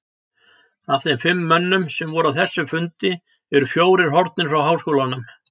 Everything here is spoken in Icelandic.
Af þeim fimm mönnum, sem voru á þessum fundi, eru fjórir horfnir frá háskólanum.